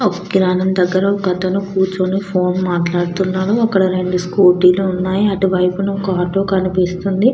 కిరణం దగ్గర ఒక అతను ఫోన్ మాట్లాడుతున్నాడు. రెండు స్కూటీ లు ఉన్నాయి. అటు వైపున ఒక ఆటో కనిపిస్తుంది.